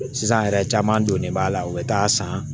Sisan yɛrɛ caman donnen b'a la u bɛ taa san